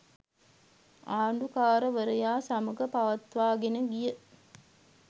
ආණ්ඩුකාරවරයා සමඟ පවත්වාගෙන ගිය